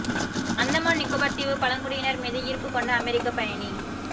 அந்தமான் நிக்கோபர் தீவு பழங்குடியினர் மீது ஈர்ப்பு கொண்ட அமெரிக்க பயணி